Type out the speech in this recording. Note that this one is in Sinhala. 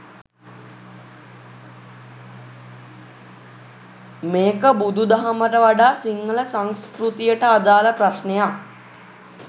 මේක බුදු දහමට වඩා සිංහල සංස්කෘතියට අදාළ ප්‍රශ්නයක්.